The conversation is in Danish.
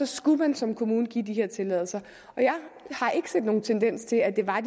skulle man som kommune give de her tilladelser jeg har ikke set nogen tendens til at det var